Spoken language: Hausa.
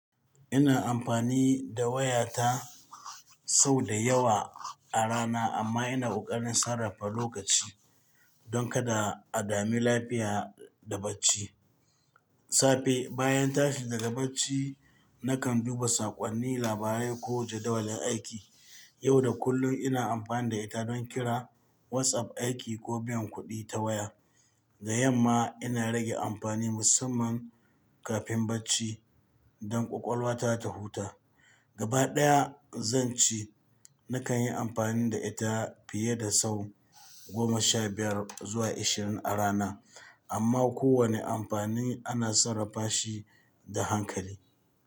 Ina amfani da waya ta sau da yawa a rana amma ina ƙoƙarin sarrafa lokaci don kada a dame lafiya da bacci. Safe, bayan tashi daga bacci, nakan duba saƙonni, labarai ko jadawalin aiki. Yau da kullum ina amfani da ita don kira, WhatsApp, aiki ko biyan kuɗi ta waya. Da yamma ina rage amfani musamman kafin bacci don ƙwaƙwalwa ta ta huta. Gabaɗaya, zan ce nakan yi amfani da ita fiye da sau goma sha biyar zuwa ashirin a rana, amma kowane amfani ana sarrafa shi da hankali.